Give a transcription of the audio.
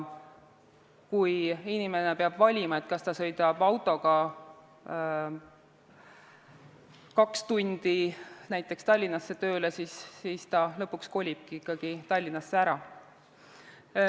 Kui inimene peab sõitma autoga kaks tundi näiteks Tallinnasse tööle, siis ta lõpuks kolibki ikkagi Tallinnasse ära.